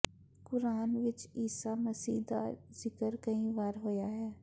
ਕੁਰਾਨ ਵਿੱਚ ਈਸਾ ਮਸੀਹ ਦਾ ਜ਼ਿਕਰ ਕਈ ਵਾਰ ਹੋਇਆ ਹੈ